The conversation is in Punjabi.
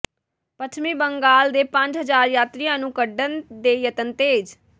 ਪੱਛਮੀ ਬੰਗਾਲ ਦੇ ਪੰਜ ਹਜ਼ਾਰ ਯਾਤਰੀਆਂ ਨੂੰ ਕੱਢਣ ਦੇ ਯਤਨ ਤੇਜ਼